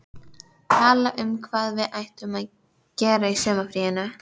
Tala um hvað við ættum að gera í sumarfríinu?